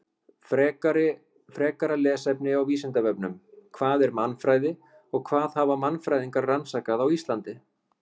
Frekara lesefni á Vísindavefnum: Hvað er mannfræði og hvað hafa mannfræðingar rannsakað á Íslandi?